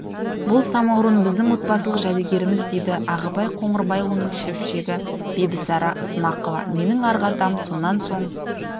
бұл самаурын біздің отбасылық жәдігеріміз дейді ағыбай қоңырбайұлының шөпшегі бибісара ысмақова менің арғы атам сонан соң